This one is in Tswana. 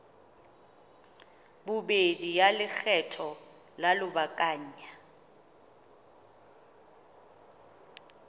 bobedi ya lekgetho la lobakanyana